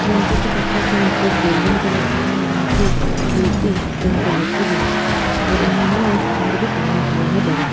गणपती बप्पा का मुकुट golden colour का है और उनकी धोती पिंक कलर की है और उन्मे एक हार भी पहना हुआ है बड़ा सा--